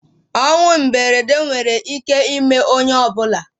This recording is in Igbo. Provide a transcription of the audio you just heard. ọnwụ mberede nwere ike ime onye ọ bụla